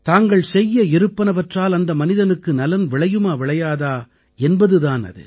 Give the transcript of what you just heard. தாங்கள் செய்ய இருப்பனவற்றால் அந்த மனிதனுக்கு நலன் விளையுமா விளையாதா என்பது தான் அது